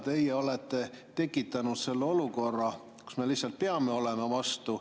Teie olete tekitanud selle olukorra, kus me lihtsalt peame olema vastu.